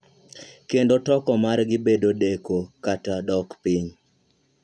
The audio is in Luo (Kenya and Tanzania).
Kendo toko margi bedo deko kata dok piny.